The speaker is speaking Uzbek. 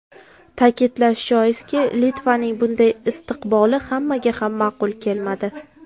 Ta’kidlash joizki, Litvaning bunday istiqboli hammaga ham ma’qul kelmadi.